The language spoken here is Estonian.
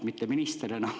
Mitte minister enam.